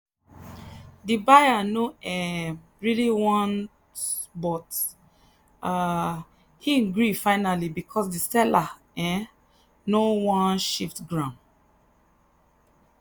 the buyer no um really want but um him gree finally because the seller um no wan shift ground.